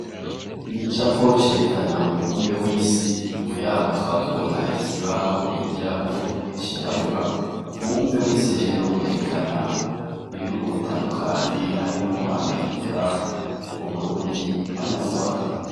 Igicapo cerekana umubumbe w'isi inyuma yaho tukaba tubona ikibaho bigirako cirabura, umubumbe w'isi rero werekana ibihugu bitandukanye harimwo amerika; uburundi hamwe n'urwanda.